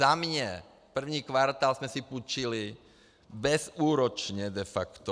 Za mě první kvartál jsme si půjčili bezúročně de facto.